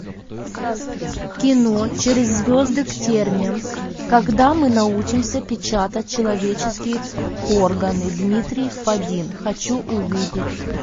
кино через звезды к терниям когда мы научимся печатать человеческие органы дмитрий фадин хочу увидеть